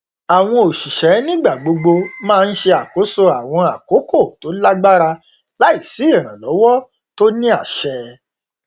àwọn òṣìṣẹ nígbà gbogbo máa n ṣe àkóso àwọn àkókò tó lágbára láì sí ìrànlọwọ tó ní àṣẹ